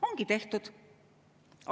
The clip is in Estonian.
Ongi tehtud!